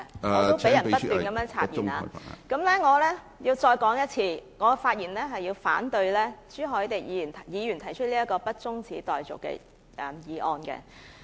我也不斷被插言......我重申，我發言反對朱凱廸議員動議的不中止待續議案。